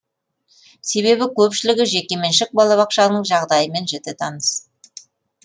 себебі көпшілігі жекеменшік балабақшаның жағдайымен жіті таныс